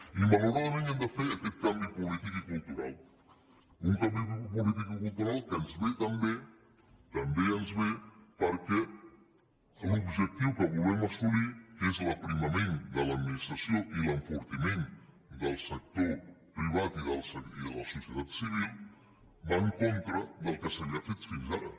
i malauradament hem de fer aquest canvi polític i cultural un canvi polític i cultural que ens ve també també ens ve perquè l’objectiu que volem assolir que és l’aprimament de l’administració i l’enfortiment del sector privat i de la societat civil va en contra del que s’havia fet fins ara